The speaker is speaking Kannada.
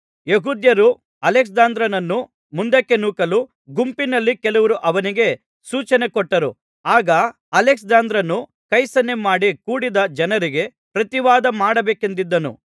ಯೆಹೂದ್ಯರು ಅಲೆಕ್ಸಾಂದ್ರನನ್ನು ಮುಂದಕ್ಕೆ ನೂಕಲು ಗುಂಪಿನಲ್ಲಿ ಕೆಲವರು ಅವನಿಗೆ ಸೂಚನೆ ಕೊಟ್ಟರು ಆಗ ಅಲೆಕ್ಸಾಂದ್ರನು ಕೈಸನ್ನೆ ಮಾಡಿ ಕೂಡಿದ್ದ ಜನರಿಗೆ ಪ್ರತಿವಾದ ಮಾಡಬೇಕೆಂದಿದ್ದನು